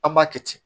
An b'a kɛ ten